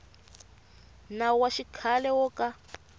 nawu wa xikhale wo ka